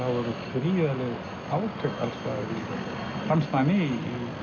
gríðarleg átök alls staðar fannst manni